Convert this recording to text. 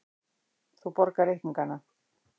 Þú borgar reikningana.